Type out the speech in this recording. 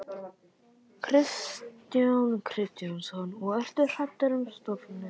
Kristján Kristjánsson: Og ertu hræddur um stofninn?